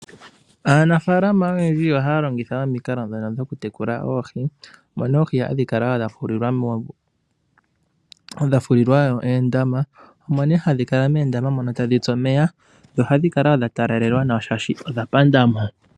Aanafalama oyendji ohaya longitha omikalo dhawo dhono dhoku tekula oohi. Mono oohi hadhi kala dha fulilwa uundama, omone hadhi kala muundama mono tadhitsu omeya yo ohadhi kala wo dhatalalelwa nawa shadhi odha pandamo.